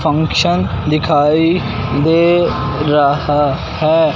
Function दिखाई दे रहा है।